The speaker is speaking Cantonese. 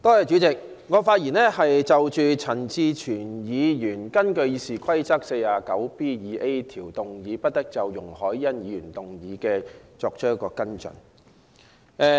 主席，我謹就陳志全議員根據《議事規則》第 49B 條動議，不得就容海恩議員動議的議案作出跟進的議案發言。